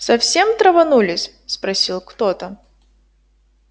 совсем траванулись спросил кто-то